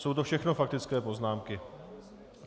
Jsou to všechno faktické poznámky.